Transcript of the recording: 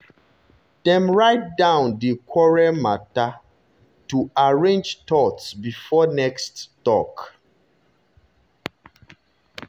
dem write down di quarrel matter quarrel matter to arrange thoughts before next talk.